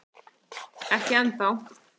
Ekki enn þá